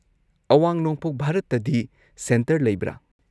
ꯑꯋꯥꯡ-ꯅꯣꯡꯄꯣꯛ ꯚꯥꯔꯠꯇꯗꯤ ꯁꯦꯟꯇꯔ ꯂꯩꯕ꯭ꯔꯥ?